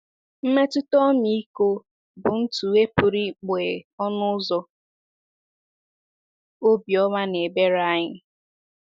Mmetụta ọmịiko bụ ntụghe pụrụ ịkpọghe ọnụ ụzọ obiọma na ebere anyị.